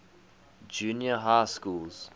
junior high schools